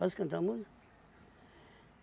Posso cantar uma música?